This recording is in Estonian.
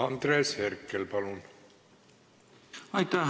Andres Herkel, palun!